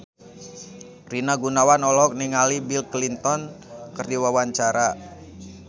Rina Gunawan olohok ningali Bill Clinton keur diwawancara